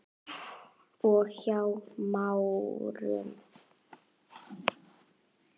og Hjá Márum.